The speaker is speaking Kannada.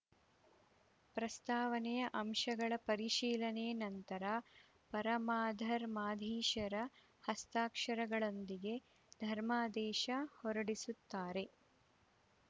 ಪ್ರಸ್ತಾವನೆಯ ಅಂಶಗಳ ಪರಿಶೀಲನೆ ನಂತರ ಪರಮಾಧರ್ಮಾಧೀಶರ ಹಸ್ತಾಕ್ಷರದೊಂದಿಗೆ ಧರ್ಮಾದೇಶ ಹೊರಡಿಸುತ್ತಾರೆ